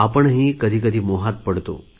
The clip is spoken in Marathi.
आपणही कधीकधी मोहात पडतो